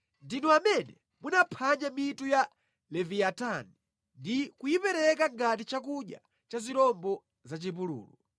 Ndinu amene munaphwanya mitu ya Leviyatani ndi kuyipereka ngati chakudya cha zirombo za mʼchipululu.